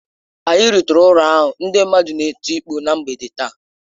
Anyị rutere ụlọ hụ ndị mmadụ na-eti mkpụ ná mgbede taa